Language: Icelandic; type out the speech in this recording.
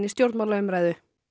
stjórnmálaumræðu